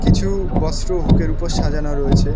কিছু বস্ত্র হুক এর ওপর সাজানো রয়েছে।